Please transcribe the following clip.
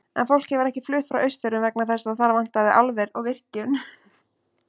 En fólk hefur ekki flutt frá Austfjörðum vegna þess að þar vantaði álver og virkjun.